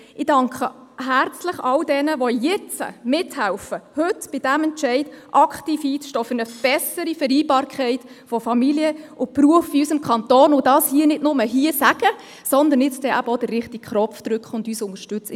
Ich danke herzlich all jenen, die jetzt mithelfen, bei diesem Entscheid aktiv für eine bessere Vereinbarkeit von Familie und Beruf in unserem Kanton einzustehen, und die dies hier nicht nur sagen, sondern nun auch den richtigen Knopf drücken und uns unterstützen.